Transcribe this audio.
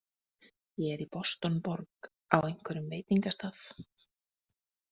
Ég er í Boston- borg, á einhverjum veitingastað.